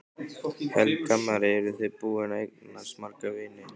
Helga María: Eru þið búin að eignast marga vini?